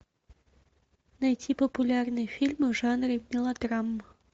найти популярные фильмы в жанре мелодрама